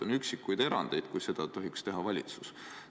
On üksikuid erandeid, kui seda tohiks teha valitsus.